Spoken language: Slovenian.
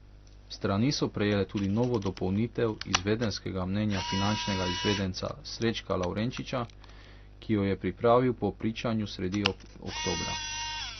Strani so prejele tudi novo dopolnitev izvedenskega mnenja finančnega izvedenca Srečka Lavrenčiča, ki jo je pripravil po pričanju sredi oktobra.